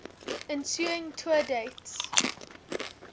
ensuing tour dates